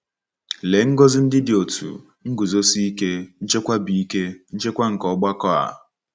Lee ngọzi ndị dị otú, nguzosi ike, nchekwa bụ ike, nchekwa bụ nke ọgbakọ a!